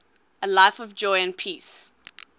a life of joy and peace